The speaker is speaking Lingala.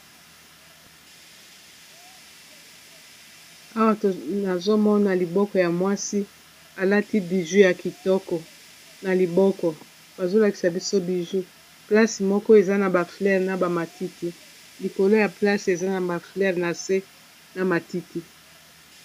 awa onazomona liboko ya mwasi alati biju ya kitoko na liboko bazolakisa biso biju place moko eza na ba fleire na bamatiti likolo ya place eza na ba fleire na se na matiti